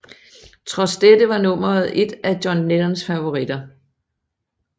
Trods dette var nummeret et af John Lennons favoritter